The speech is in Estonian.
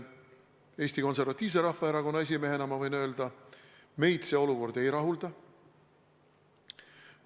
Eesti Konservatiivse Rahvaerakonna esimehena ma võin öelda, et meid see olukord ei rahulda.